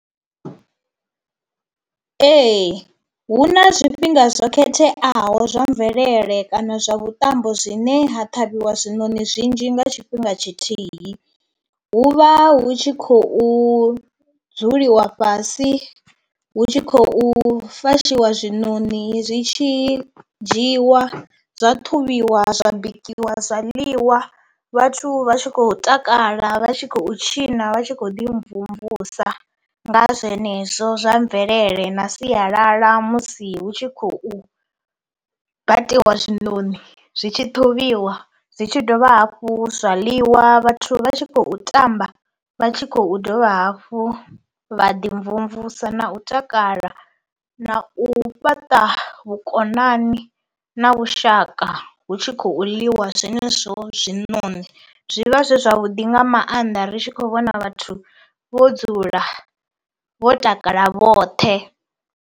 Ee hu na zwifhinga zwo khetheaho zwa mvelele kana zwa vhuṱambo zwine ha ṱhavhiwa zwiṋoni zwinzhi nga tshifhinga tshithihi. Hu vha hu tshi khou dzuliwa fhasi hu tshi khou fashiwa zwiṋoni zwi tshi dzhiwa zwa ṱhuvhiwa zwa bikiwa zwa ḽiwa vhathu vha tshi khou takala, vha tshi khou tshina, vha tshi khou ḓi mvumvusa nga zwenezwo zwa mvelele na sialala musi hu tshi khou batiwa zwiṋoni zwi tshi ṱhuvhiwa zwi tshi dovha hafhu zwa ḽiwa vhathu vha tshi khou tamba vha tshi khou dovha hafhu vha ḓi mvumvusa na u takala na u fhaṱa vhukonani na vhushaka hu tshi khou ḽiwa zwenezwo zwiṋono. Zwi vha zwi zwavhuḓi nga maanḓa ri tshi khou vhona vhathu vho dzula vho takala vhoṱhe.